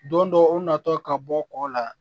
Don dɔw u natɔ ka bɔ kɔ la